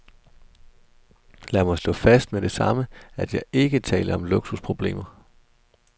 Lad mig slå fast med det samme, at jeg ikke taler om luksusproblemer.